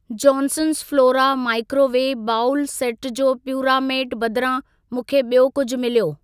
Johnson's Flora microwave bowl set जे प्यूरामेट बदिरां, मूंखे ॿियो कुझि मिलियो।